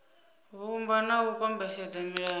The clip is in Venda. vhumba na u kombetshedza milayo